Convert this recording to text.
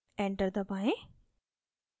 enter दबाएँ